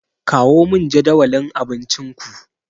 Kawo min jadawalin abincinku.